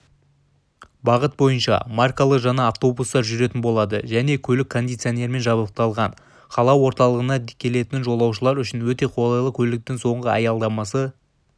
бағыт бойынша маркалы жаңа автобустар жүретін болады жаңа көлік кондиционермен жабдықталған қала орталығына келетін жолаушылар үшін өте қолайлы көліктің соңғы аялдамасы